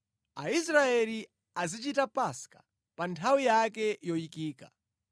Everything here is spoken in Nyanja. “Aisraeli azichita Paska pa nthawi yake yoyikika.